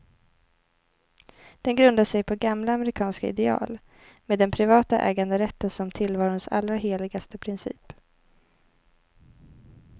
Den grundar sig på gamla amerikanska ideal, med den privata äganderätten som tillvarons allra heligaste princip.